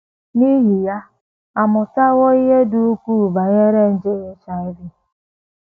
N’ihi ya, a mụtawo ihe dị ukwuu banyere nje HIV.